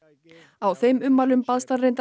á þeim ummælum baðst hann reyndar